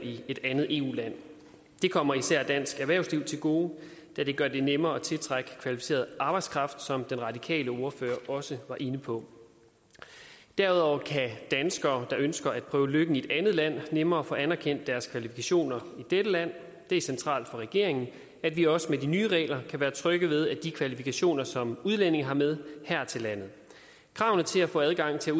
i et andet eu land det kommer især dansk erhvervsliv til gode da det gør det nemmere at tiltrække kvalificeret arbejdskraft som den radikale ordfører også var inde på derudover kan danskere der ønsker at prøve lykken i et andet land nemmere få anerkendt deres kvalifikationer i dette land det er centralt for regeringen at vi også med de nye regler kan være trygge ved de kvalifikationer som udlændinge har med her til landet kravene til at få adgang til at